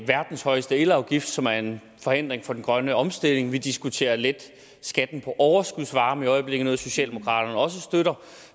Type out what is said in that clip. verdens højeste elafgift som er en forhindring for den grønne omstilling vi diskuterer at lette skatten på overskudsvarme i øjeblikket noget socialdemokraterne også støtter